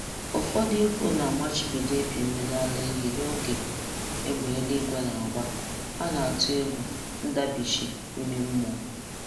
Ụfọdụ ikwu na-amachibido ịpị mmiri ara ehi n'oge égbè eluigwe na-agba,a na-atụ egwu ndabichi ime mmụọ.